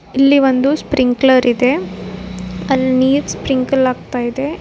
ಇಲ್ಲಿ ಒಂದು ಸ್ಪ್ರಿಂಕ್ಲರ್ ಇದೆ ಅಲ್ಲಿ ನೀರ್ ಸ್ಪ್ರಿಂಕಲ್ ಆಗ್ತಾ ಇದೆ.